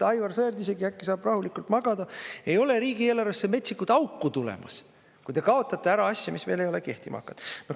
Aivar Sõerd isegi äkki saab rahulikult magada, ei ole riigieelarvesse metsikut auku tulemas, kui te kaotate ära asja, mis ei ole veel kehtima hakanud.